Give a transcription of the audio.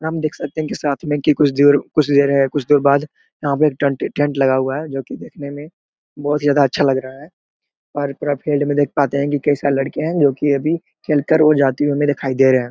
हम देख सकते की साथ में की कुछ दूर कुछ देर है कुछ देर बाद यहाँ पे टांट टेंट लगा हुआ है जो की देखने में बहोत ही ज्यादा अच्छा लग रहा है और फिल्ड देख पाते है की कैसा लड़की है जो की अभी खेल कर जाती हुई हमें दिखाई दे रहे है।